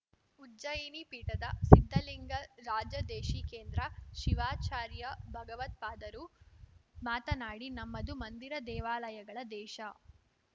ಉಜ್ಜಯಿನಿ ಪೀಠದ ಸಿದ್ದಲಿಂಗ ರಾಜದೇಶಿಕೇಂದ್ರ ಶಿವಾಚಾರ್ಯ ಭಗವತ್ಪಾದರು ಮಾತನಾಡಿ ನಮ್ಮದು ಮಂದಿರ ದೇವಾಲಯಗಳ ದೇಶ